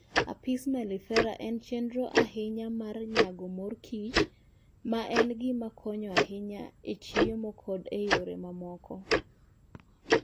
Apis mellifera en chenro ahinya ma nyago mor kich, ma en gima konyo ahinya e chiemo koda e yore mamoko